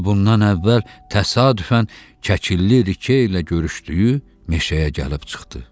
Bir il bundan əvvəl təsadüfən Kəkill li Rike ilə görüşdüyü meşəyə gəlib çıxdı.